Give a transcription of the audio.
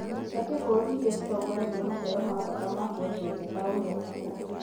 Mbũndi cia kĩmabũrũri irĩa citongoretie maciaro ma bata ma kũendia nja ta ũrĩa kahũa